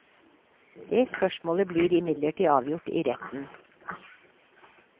Dét spørsmålet blir imidlertid avgjort i retten.